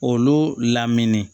Olu lamini